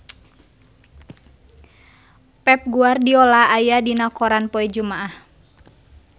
Pep Guardiola aya dina koran poe Jumaah